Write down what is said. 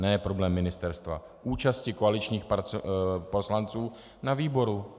Ne problém ministerstva, účasti koaličních poslanců na výboru.